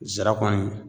Zarakɔni